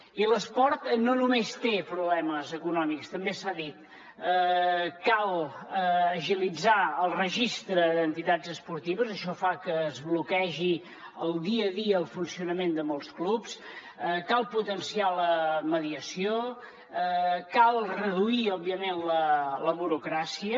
i l’esport no només té problemes econòmics també s’ha dit cal agilitzar el registre d’entitats esportives això fa que es bloquegi el dia a dia del funcionament de molts clubs cal potenciar la mediació cal reduir òbviament la burocràcia